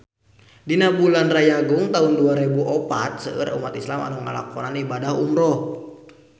Dina bulan Rayagung taun dua rebu opat seueur umat islam nu ngalakonan ibadah umrah